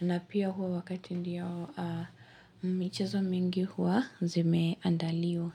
na pia huwa wakati ndio michezo mingi huwa zimeandaliwa.